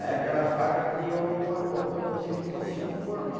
Aí aquela faca criou uma ponta como se fosse um formão.